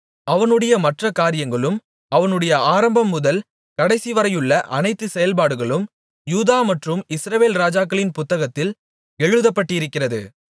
அவனுடைய மற்ற காரியங்களும் அவனுடைய ஆரம்பம்முதல் கடைசிவரையுள்ள அனைத்து செயல்பாடுகளும் யூதா மற்றும் இஸ்ரவேல் ராஜாக்களின் புத்தகத்தில் எழுதப்பட்டிருக்கிறது